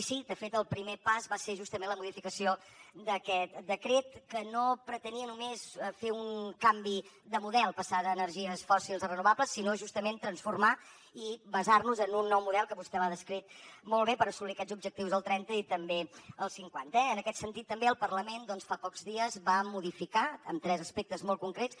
i sí de fet el primer pas va ser justament la modificació d’aquest decret que no pretenia només fer un canvi de model passar d’energies fòssils a renovables sinó justament transformar i basar nos en un nou model que vostè l’ha descrit molt bé per assolir aquests objectius el trenta i també el cinquanta eh en aquest sentit també el parlament doncs fa pocs dies va modificar en tres aspectes molt concrets